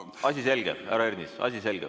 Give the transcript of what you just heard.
Asi selge, härra Ernits, asi selge.